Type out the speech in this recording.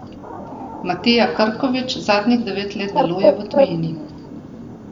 Matija Krkovič zadnjih devet let deluje v tujini.